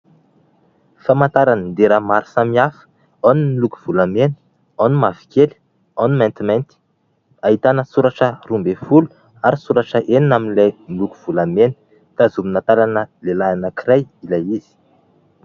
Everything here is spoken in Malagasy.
Famantaran- dera maro samihafa : ao ny miloko volamena, ao ny mavokely, ao ny mantimainty. Ahitana soratra roa ambin'ny folo ary soratra enina amin'ilay miloko volamena, tazomina tanana lehilahy anankiray ilay izy.